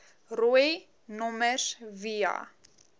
rooi nommers via